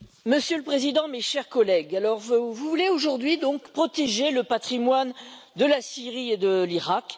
Monsieur le Président, mes chers collègues, vous voulez donc aujourd'hui protéger le patrimoine de la Syrie et de l'Irak.